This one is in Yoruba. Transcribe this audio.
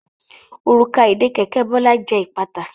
Òrùka ìdè kẹ̀kẹ́ Bola jẹ ipata.